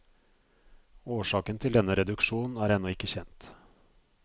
Årsaken til denne reduksjon er ennå ikke kjent.